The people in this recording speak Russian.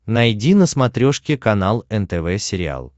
найди на смотрешке канал нтв сериал